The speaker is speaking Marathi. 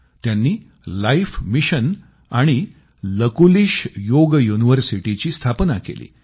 त्यांनी लाईफ मिशन आणि लकुलिश योग युनिव्हर्सिटीची स्थापना केली